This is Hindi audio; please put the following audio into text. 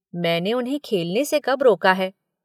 मैंने उन्हें खेलने से कब रोका है?